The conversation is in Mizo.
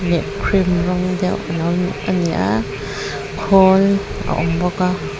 leh cream rawng deuh a lo a ni a khawl a awm bawk a.